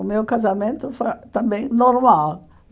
O meu casamento foi também normal.